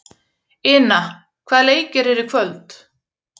Ina, hvaða leikir eru í kvöld?